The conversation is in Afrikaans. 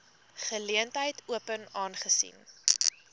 geleentheid open aangesien